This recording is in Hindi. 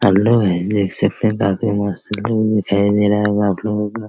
हेलो गाइस देख सकते है काफी मस्त बिल्डिंग दिखाई दे रहा होगा आपलोगो का --